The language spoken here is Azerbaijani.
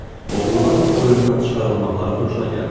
Oğruların oyundan çıxarılmaqları xoşuna gəldi.